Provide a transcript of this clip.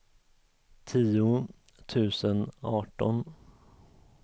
tio tusen arton